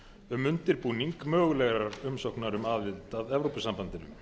um undirbúning mögulegrar umsóknar um aðild að evrópusambandinu